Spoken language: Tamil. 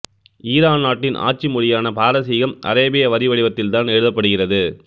ஈரான் நாட்டின் ஆட்சி மொழியான பாரசீகம் அரேபிய வரி வடிவத்தில்தான் எழுதப்படுகிறது